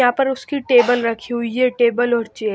यहां पर उसकी टेबल रखी हुई है टेबल और चेय--